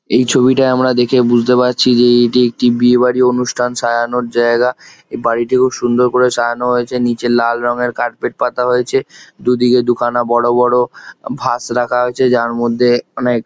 এই ছবিটায় আমরা দেখে বুজতে পারছি যে এটি একটি বিয়ে বাড়ি অনুষ্ঠান সাজানোর জায়গা | এই বাড়িটি খুব সুন্দর করে সাজানো হয়েছে | নিচে লাল রঙের কার্পেট পাতা হয়েছে | দুদিকে দুখানা বড় বড় ভাস রাখা হয়েছে যার মধ্যে অনেক --